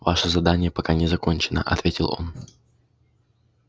ваше задание пока не закончено ответил он